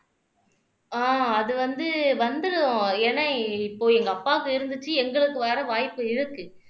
ஆஹ் அது வந்து வந்துரும் ஏன்னா இப்போ எங்க அப்பாவுக்கு இருந்துச்சு எங்களுக்கு வர வாய்ப்பு இருக்கு